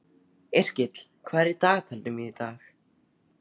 Yrkill, hvað er í dagatalinu mínu í dag?